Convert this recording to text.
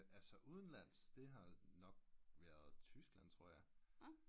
Altså udenlandsk det har nok været Tyskland tror jeg